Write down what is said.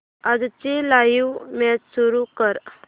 आजची live match सुरू कर